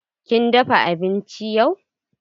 Kin dafa abinci yau?